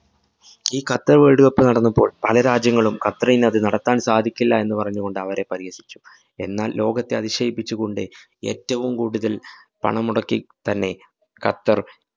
ഈ Qatar‍ world cup നടന്നപ്പോള്‍ പല രാജ്യങ്ങളും ഖത്തറിനത് നടത്താന്‍ സാധിക്കില്ല എന്നുപറഞ്ഞുകൊണ്ട് അവരെ പരിഹസിച്ചു. എന്നാല്‍ ലോകത്തെ അതിശയിപ്പിച്ചുകൊണ്ട്, ഏറ്റവും കൂടുതല്‍ പണം മുടക്കി തന്നെ ഖത്തര്‍